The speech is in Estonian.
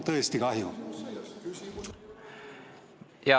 Tõesti kahju!